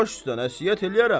Baş üstə nəsihət eləyərəm.